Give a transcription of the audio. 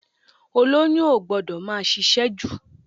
Olóyún o gbọ́dọ̀ máa ṣiṣẹ́ jù.